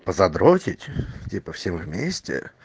задротить типа всем вместе